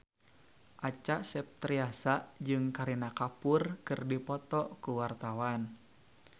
Acha Septriasa jeung Kareena Kapoor keur dipoto ku wartawan